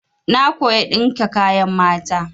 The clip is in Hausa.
Na koya ɗinka kayan mata.